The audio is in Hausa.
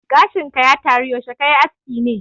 Gashin ka ya taro, yaushe kayi askin ne?